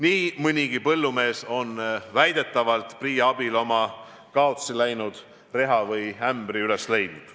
Nii mõnigi põllumees on väidetavalt PRIA abil oma kaotsiläinud reha või ämbri üles leidnud.